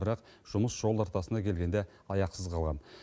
бірақ жұмыс жол ортасына келгенде аяқсыз қалған